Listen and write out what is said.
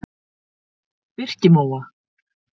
Birkimóa